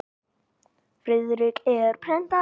Friðrik er prentari.